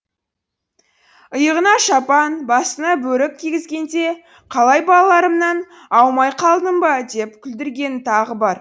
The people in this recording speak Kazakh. иығына шапан басына бөрік кигізгенде қалай балаларымнан аумай қалдым ба деп күлдіргені тағы бар